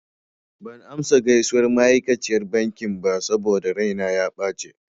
Ban amsa gaisuwar ma'aikaciyar bankin ba saboda raina ya ɓace.